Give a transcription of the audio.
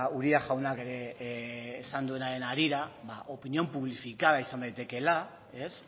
uria jaunak ere esan duenaren harira opinión publificada izan daitekeela ez